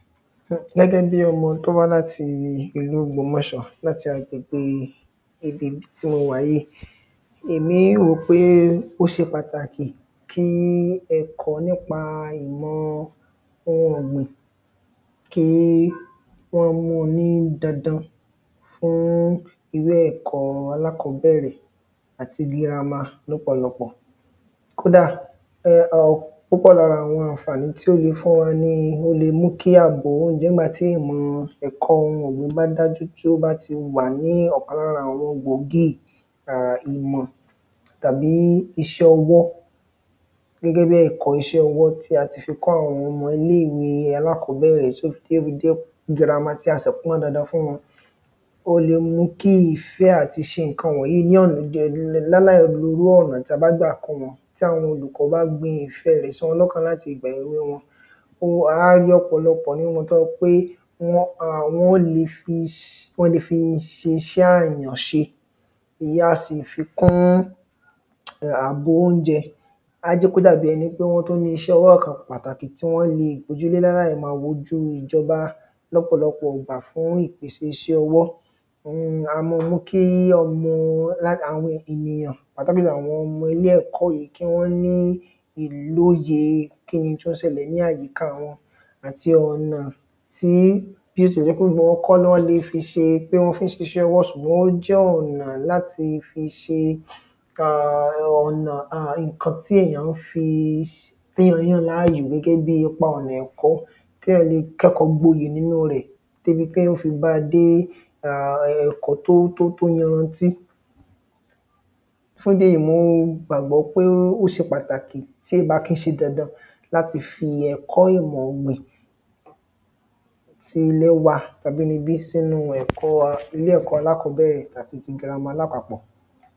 Gẹ́gẹ́ bí ọmọ tó wá láti ìlú ògbómọ̀ṣọ́ láti agbègbè ibi tí mo wà yìí. Èmi rò pé ó ṣe pàtàkì kí ẹ̀kọ́ nípa ìmọ ohun ọ̀gbìn tó kí wọ́n mu ní dandan fún ilé ẹ̀kọ́ alákọ̀bẹ́rẹ̀ àti girama lọpọ̀lọpọ̀. Kódà púpọ̀ lára àwọn ànfàní tí ó le fún wa ni ó le mú kí kí a gbèrú gan nígbà tí ìmọ̀ ẹ̀kọ́ ohun ọ̀gbìn bá dájú tí ó bá ti wà ní ọ̀kan lára àwọn gbòógì ìmọ̀ tàbí iṣẹ́ ọwọ́. gẹ́gẹ́ bí ẹ̀kọ́ iṣẹ́ ọwọ́ tí a ti fi kọ́ àwọn ọmọ ilé ìwé alákọ́bẹ̀rẹ̀ tí ó fí jẹ́ pé ibo ni a má tí a sì pọ́n dandan fún wọn. Ó le mú kí ìfẹ́ àti ṣe àwọn nǹkan wọ̀nyí ní ọ̀nà tí a bá gbà kọ́ wọn tí àwọn olùkọ́ bá gbin ìfẹ́ rẹ̀ sí wọn lọ́kàn láti gbèrú wọn fún a má ń rí ọ̀pọ̀lọpọ̀ nínú tó jẹ́ pé wọ́n a wọ́n le fi ṣe ṣẹ́ àrìnà ṣe èyàn a sì fi kún àgbo óúnjẹ á jẹ́ kó dàbí ẹni pé wọ́n tún ní iṣẹ́ ọwọ́ kan pàtàkì tí wọ́n le ojú ló má ń ráyè wojú ìjọba lọ́pọ̀lọpọ̀ ìgbà fún iṣẹ́ ọwọ́ oun ni a má mú kí ọmọ wá àwọn ènìyàn àbí àwọn ọmọ ilé ẹ̀kọ́ yìí kí wọ́n ní ìlóye n tó ń ṣẹlẹ̀ ní àyíká wọn àti ọ̀nà tí bí ó tilẹ̀ jẹ́ pé gbogbo wọn kọ́ ni le fí ṣe pé wọ́n fẹ́ ṣiṣẹ́ ọwọ́ ṣùgbọ́n ó jẹ́ ọ̀nà láti fi ṣe ka ọ̀nà nǹkan tí èyàn ń fi téyàn yàn láàyò gẹ́gẹ́ bí ohun ẹ̀kọ́ téyàn le kẹ́kọ̀ọ́ gboyè nínú rẹ̀ débi pé wọ́n fi bá dé àwọn ẹ̀kọ́ tó yanrantí. fún ìdí èyí mo gbàgbọ́ pé ó ṣe pàtàkì tí ìbá kí ṣe dandan láti fi ẹ̀kọ́ ìmọ̀ ọ̀gbìn tí wọ́n wà abinibí sínú ẹ̀kọ́ ilé ẹ̀kọ́ alákọ̀bẹ̀rẹ̀ àti gírama lápapọ̀.